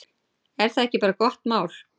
Er það ekki bara gott mál?